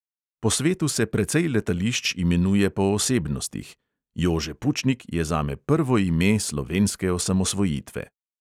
Po svetu se precej letališč imenuje po osebnostih; jože pučnik je zame prvo ime slovenske osamosvojitve.